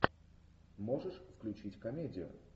можешь включить комедию